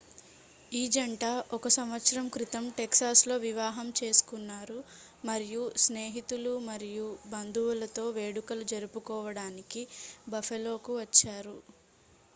ఈ జంట 1సంవత్సరం క్రితం టెక్సాస్లో వివాహం చేసుకున్నారు మరియు స్నేహితులు మరియు బంధువులతో వేడుకలు జరుపుకోవడానికి బఫెలోకు వచ్చారు